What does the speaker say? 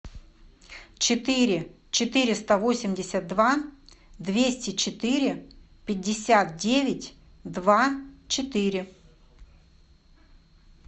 четыре четыреста восемьдесят два двести четыре пятьдесят девять два четыре